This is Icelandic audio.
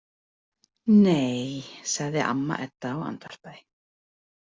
Nei, sagði amma Edda og andvarpaði.